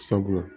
Sabula